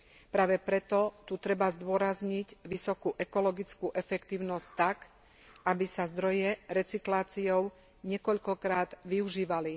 Práve preto tu treba zdôrazniť vysokú ekologickú efektívnosť tak, aby sa zdroje recykláciou niekoľkokrát využívali.